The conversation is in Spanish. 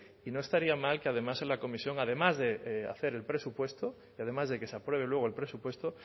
y no estaría más que además en la comisión además de hacer presupuesto y además de que se apruebe luego el presupuesto